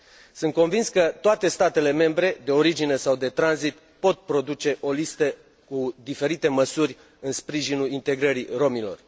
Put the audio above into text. Sunt convins că toate statele membre, de origine sau de tranzit, pot produce o listă cu diferite măsuri în sprijinul integrării romilor.